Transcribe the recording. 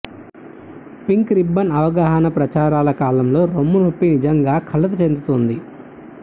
pink ribbon అవగాహన ప్రచారాల కాలంలో రొమ్ము నొప్పి నిజంగా కలత చెందుతుంది